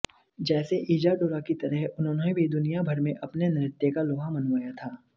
जैसे इजाडोरा की तरह उन्होंने भी दुनियाभर में अपने नृत्य का लोहा मनवाया था